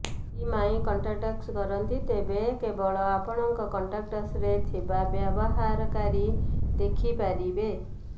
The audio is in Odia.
ଯଦି ମାଇଁ କଣ୍ଟାକ୍ଟ୍ସ କରନ୍ତି ତେବେ କେବଳ ଆପଣଙ୍କ କଣ୍ଟାକ୍ଟସରେ ଥିବା ବ୍ୟବହାରକାରୀ ଦେଖିପାରିବେ